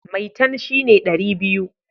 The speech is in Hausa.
Maitan shi ne dari biyu